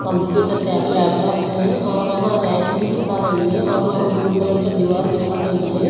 Computer laptop है और वहां रैंक्स भी दिखा रही है और वह ब्लू कलर का दीवार दिखा रही है।